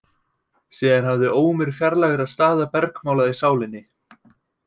Síðan hafði ómur fjarlægra staða bergmálað í sálinni.